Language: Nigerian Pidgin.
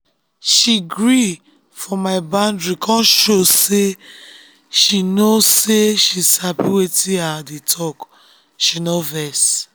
she gree for my boundary kon show say she show say she sabi wetin i um dey talk she no vex.